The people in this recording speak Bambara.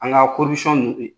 An ŋa ninnu to ye!